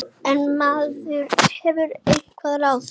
En maður hefur einhver ráð.